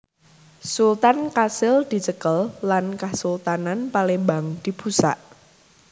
Sultan kasil dicekel lan Kasultanan Palembang dibusak